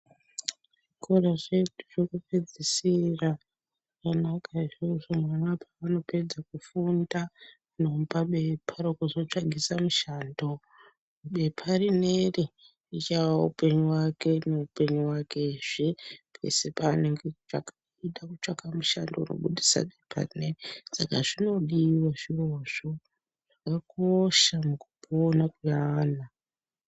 Zvikora zvedu zvekupedzisira kana uka.............paunopedza kufunda vanomupa bepa rekuzotsvagisa mushando, bepa rineri richava upenyu wake neupenyu wakezve pese paanenge eitsvaka kuita mushando unobudisa bepabrineri saka zvinodiwa zvirozvo zvakakosha mukupona kweana.